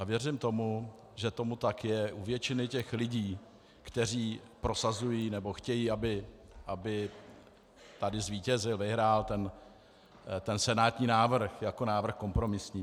A věřím tomu, že tomu tak je u většiny těch lidí, kteří prosazují, nebo chtějí, aby tady zvítězil, vyhrál ten senátní návrh jako návrh kompromisní.